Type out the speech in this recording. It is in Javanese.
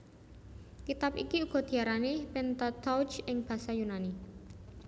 Kitab iki uga diarani Pentateuch ing basa Yunani